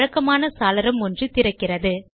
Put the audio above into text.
பழக்கமான சாளரம் ஒன்று திறக்கிறது